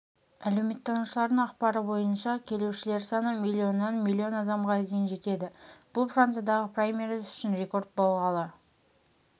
әлеуметтанушылардың ақпары бойынша келушілер саны миллионнан миллион адамға дейін жетеді бұл франциядағы праймериз үшін рекорд болғалы